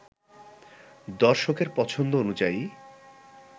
দর্শকের পছন্দ অনুযায়ী